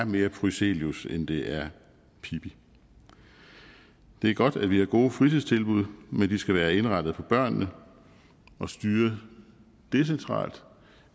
mere er prysselius end det er pippi det er godt at vi har gode fritidstilbud men de skal være indrettet for børnene og styret decentralt